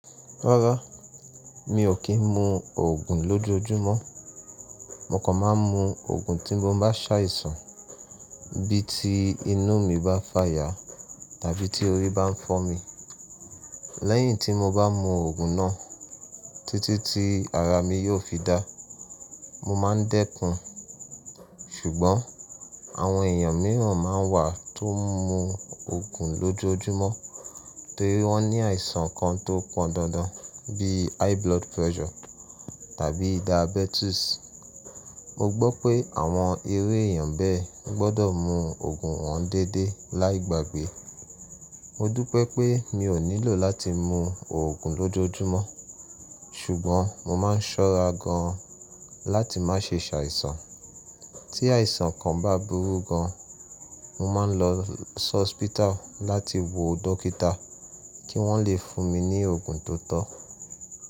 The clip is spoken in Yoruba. Rárá, mi ò kí ń mu oògùn lójojúmọ́. Mo kàn máa ń mu oògùn tí mo bá ṣàìsàn, bí i tí inú mi bá fàya tàbí tí orí bá ń fọ́ mi. Lẹ́yìn tí mo bá mu oògùn náà, títí tí ara mi yóò fi dá, mo máa ń dẹ́kun. Ṣùgbọ́n àwọn èèyàn mìíràn máa ń wà tó ń mu oògùn lójojúmọ́ torí wọ́n ní àìsàn kan tó pọndandan bí i high blood pressure tàbí diabetes. Mo gbọ́ pé àwọn irú èèyàn bẹ́ẹ̀ gbọ́dọ̀ mu oògùn wọn déédéé láì gbàgbé. Mo dúpẹ́ pé mi ò nílò láti mu oògùn lójojúmọ́, ṣùgbọ́n mo máa ń ṣọ́ra gan láti má ṣe ṣàìsàn. Tí àìsàn kan bá burú gan-an, mo máa ń lọ sí hospital láti wo dókítà kí wọ́n lè fún mi ní oògùn tó tọ́.